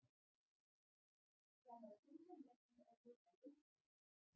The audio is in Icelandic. Það má finna með því að nota leitarvélina.